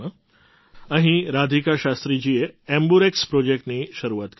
અહીં રાધિકા શાસ્ત્રીજીએ એમ્બ્યુરેક્સ એમ્બર્ક્સ પ્રૉજેક્ટની શરૂઆત કરી છે